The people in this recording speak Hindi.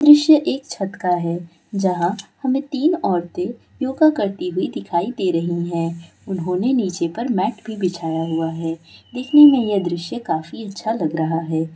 दृश्य एक छत का है जहां हमें तीन औरते योगा करते हुए दिखाई दे रही है उन्होंने नीचे पर मेट भी बिछाया हुआ है देखने में यह दृश्य काफी अच्छा लग रहा है।